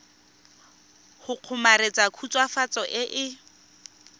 go kgomaretsa khutswafatso e e